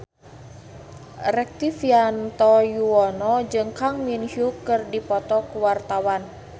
Rektivianto Yoewono jeung Kang Min Hyuk keur dipoto ku wartawan